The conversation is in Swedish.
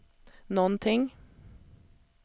någonting